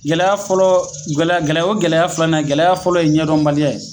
Gɛlɛya fɔlɔ, gɛlɛya o ye gɛlɛya filananye gɛlɛya fɔlɔ ye ɲɛdɔnbali ya ye.